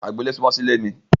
Agbo-ile sunmọ sí ilé mi.